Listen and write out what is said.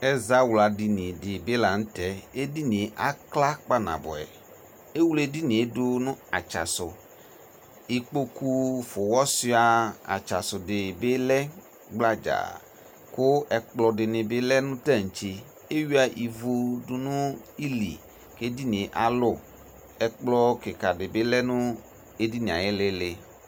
Ɛzawla dini di bi la nʋ tɛ Edini e akla kpanabuɛ Ewle edini e dʋ nʋ atsa sʋ Ikpoku fʋwɔsua atsa sʋ di bi lɛ gbladzaa kʋ ɛkplɔ di ni bi lɛ nʋ tantse Ewuia ivu dʋ nʋ ili kʋ ɛdini yɛ alʋ Ɛkplɔ kika di bi lɛ nʋ edini e ayu ilili